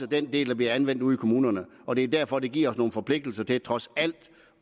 den del der bliver anvendt ude i kommunerne og det er derfor det giver os nogle forpligtelser til trods alt